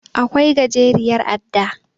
Akwai gajeriyar adda.